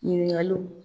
Ɲininkaliw